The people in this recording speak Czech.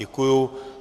Děkuji.